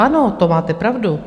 Ano, to máte pravdu.